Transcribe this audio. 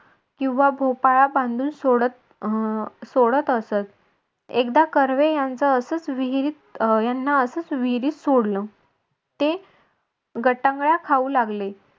किंवा भोपाळा बांधून सोडत अह सोडत असत. एकदा कर्वे यांच असंच विहिरीत याना असंच विहिरीत सोडलं ते गटांगळा खाऊ लागले.